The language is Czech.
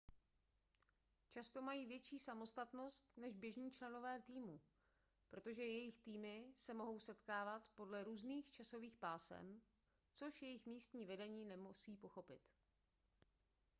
často mají větší samostatnost než běžní členové týmu protože jejich týmy se mohou setkávat podle různých časových pásem což jejich místní vedení nemusí pochopit